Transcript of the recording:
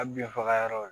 A bin faga yɔrɔ